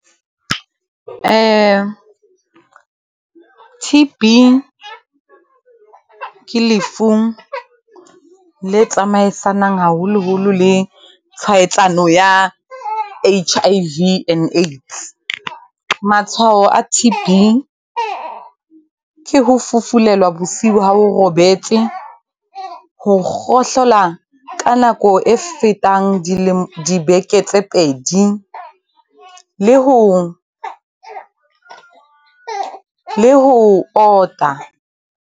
T_B, ke lefu le tsamaisanang haholoholo le tshwaetsano ya H_I_V and AIDS. Matshwao a T_B ke ho fufulelwa bosiu ha o robetse, ho kgohlela ka nako e fetang dibeke tse pedi, le ho ota.